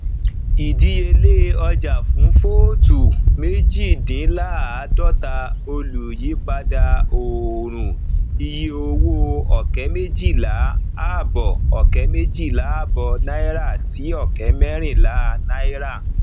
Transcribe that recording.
ìdíyelé ọjà fún vóótù méjìdínláàdọta olùyípadà òòrùn iye owó ọkẹ méjìlá àbọ ọkẹ méjìlá àbọ náírà sí ọkẹ mẹrinlá náírà